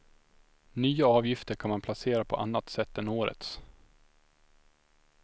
Nya avgifter kan man placera på annat sätt än årets.